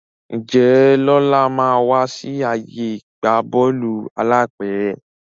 Njé Lọla má wá sí ààyè ìgbà Bọ́ọ̀lù alápẹ̀rẹ̀